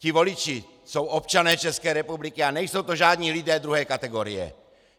Ti voliči jsou občané České republiky a nejsou to žádní lidé druhé kategorie!